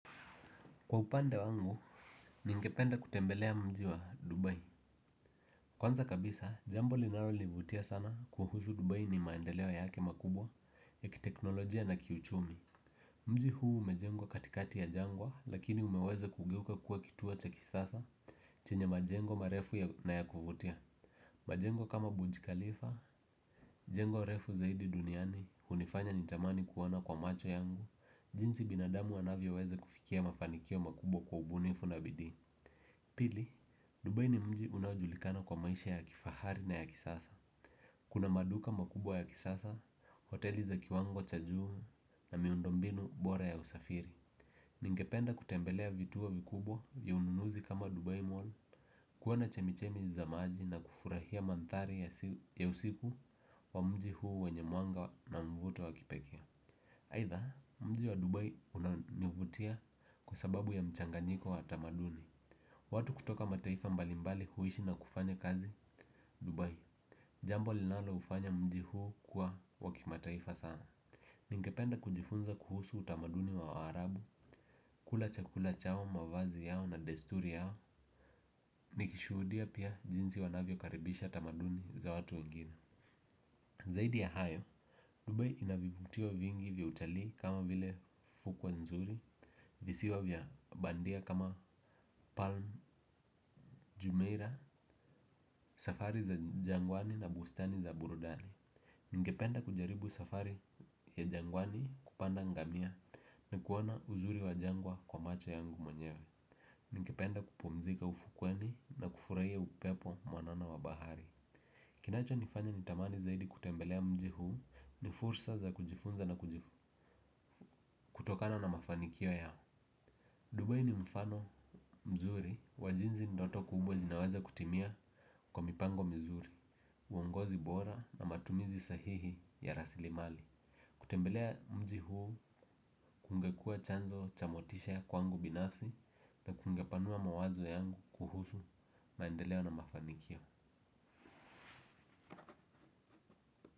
Kwa upande wangu, ningependa kutembelea mji wa Dubai. Kwanza kabisa, jambo linalonivutia sana kuhusu Dubai ni maendeleo yake makubwa ya kiteknolojia na kiuchumi. Mji huu umejengwa katikati ya jangwa lakini umeweze kugeuka kuwa kituo cha kisasa chenye majengo marefu na ya kuvutia. Majengo kama Burj Khalifa, jengo refu zaidi duniani, hunifanya nitamani kuona kwa macho yangu jinsi binadamu anavyoweza kufikia mafanikio makubwa kwa ubunifu na bidii pili, Dubai ni mji unaojilikana kwa maisha ya kifahari na ya kisasa. Kuna maduka makubwa ya kisasa, hoteli za kiwango cha juu na miundo mbinu bora ya usafiri. Ningependa kutembelea vituo vikubwa ya ununuzi kama Dubai Mall. Kuona chemichemi za maji na kufurahia mandhari ya usiku wa mji huu wenye mwanga na mvuto wa kipekee. Aidha, mji wa Dubai unanivutia kwa sababu ya mchanganyiko wa tamaduni. Watu kutoka mataifa mbalimbali huishi na kufanya kazi Dubai. Jambo linaloufanya mji huu kuwa wa kimataifa sana. Ningependa kujifunza kuhusu utamaduni wa waarabu kula chakula chao mavazi yao na desturi yao nikishuhudia pia jinsi wanavyokaribisha utamaduni za watu wengine. Zaidi ya hayo, Dubai ina vivutio vingi vya utalii kama vile fukwe nzuri. Visiwa vya bandia kama Palm Jumeirah, safari za jangwani na bustani za burudani ningependa kujaribu safari ya jangwani kupanda ngamia na kuona uzuri wa jangwa kwa macho yangu mwenyewe. Ningependa kupumzika ufukweni na kufurahia upepo mwanana wa bahari. Kinachonifanya nitamani zaidi kutembelea mji huu ni fursa za kujifunza na kutokana na mafanikio yao Dubai ni mfano mzuri, wa jinsi ndoto kubwa zinaweza kutimia kwa mipango mzuri, uongozi bora na matumizi sahihi ya rasilimali. Kutembelea mji huu kungekua chanzo cha motisha kwangu binafsi kungepanua mawazo yangu kuhusu maendeeo na mafanikio.